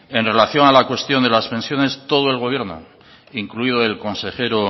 en relación a la cuestión de las pensiones todo el gobierno incluido el consejero